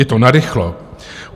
Je to narychlo.